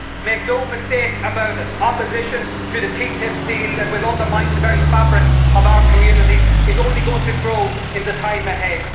Make no mistake about it opposition to the TTIP deal that will undermine the very fabric of our communities is only going to grow in the time ahead.